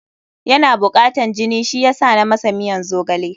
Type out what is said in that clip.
Yana bukatan jini, shi yasa na masa miyan zogale.